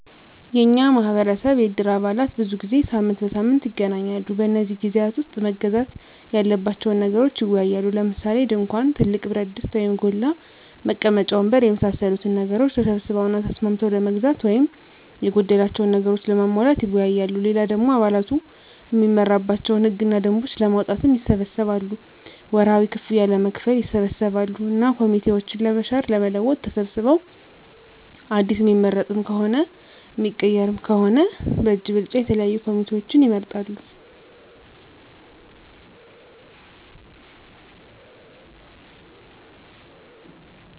የኛ ማህበረሰብ የእድር አባላት ብዙ ጊዜ ሳምንት በሳምንት ይገናኛሉ። በነዚህ ግዜያት ዉስጥ መገዛት ያለባቸዉን ነገሮች ይወያያሉ። ለምሳሌ፦ ድንኳን፣ ትልቅ ብረትድስት (ጎላ) ፣ መቀመጫ ወንበር የመሳሰሉትን ነገሮች ተሰብስበዉ እና ተስማምተዉ ለመግዛት ወይም የጎደላቸዉን ነገሮች ለማሟላት ይወያያሉ። ሌላ ደሞ አባላቱ እሚመራባቸዉን ህግ እና ደንቦች ለማዉጣትም ይሰበሰባሉ፣ ወርሀዊ ክፍያም ለመክፈል ይሰበሰባሉ እና ኮሚቴዎችን ለመሻር ለመለወጥ ተሰብስበዉ አዲስ እሚመረጥም ሆነ እሚቀየር ከሆነም በእጅ ብልጫ የተለያዩ ኮሚቴዎችን ይመርጣሉ።